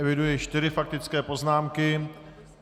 Eviduji čtyři faktické poznámky.